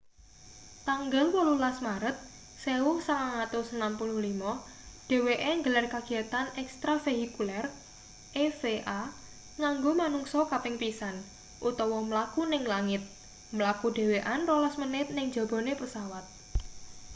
tanggal 18 maret 1965 dheweke nggelar kagiyatan ekstravehikuler eva nganggo manungsa kaping pisan utawa mlaku ning langit” mlaku dhewekan rolas menit ning njabane pesawat